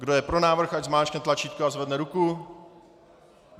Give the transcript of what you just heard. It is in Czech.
Kdo je pro návrh, ať zmáčkne tlačítko a zvedne ruku.